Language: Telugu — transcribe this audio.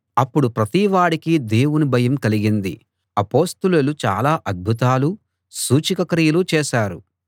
అప్పుడు ప్రతివాడికి దేవుని భయం కలిగింది అపొస్తలులు చాలా అద్భుతాలూ సూచకక్రియలూ చేశారు